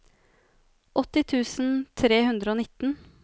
åtti tusen tre hundre og nitten